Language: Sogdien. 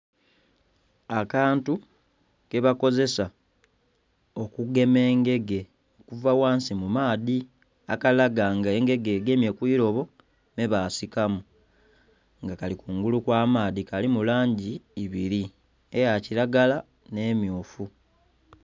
Akantu kebakozesa okugema engege okuva ghansi mu maadhi akalaga nga engege egemye kwirobo me basikamu nga kali kungulu kwa maadhi, kalimu langi ibiri eya kilagala nhe emyufu.